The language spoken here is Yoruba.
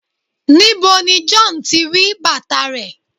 níbo ni John tí ri bàtà rẹ